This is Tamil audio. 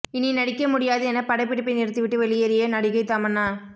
இனி நடிக்க முடியாது என படப்பிடிப்பை நிறுத்திவிட்டு வெளியேறிய நடிகை தமன்னா